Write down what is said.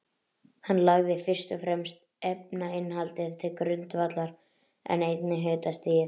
Hann lagði fyrst og fremst efnainnihaldið til grundvallar, en einnig hitastigið.